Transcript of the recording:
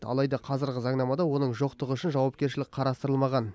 алайда қазіргі заңнамада оның жоқтығы үшін жауапкершілік қарастырылмаған